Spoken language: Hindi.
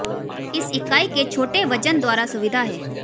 इस इकाई के छोटे वजन द्वारा सुविधा है